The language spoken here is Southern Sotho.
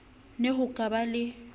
ne ho ka ba le